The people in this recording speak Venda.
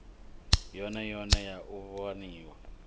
yone yone ya u waniwa